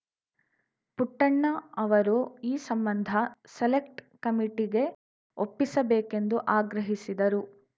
ಪುಟ್ಟಣ್ಣ ಅವರು ಈ ಸಂಬಂಧ ಸೆಲೆಕ್ಟ್ ಕಮಿಟಿಗೆ ಒಪ್ಪಿಸಬೇಕೆಂದು ಆಗ್ರಹಿಸಿದರು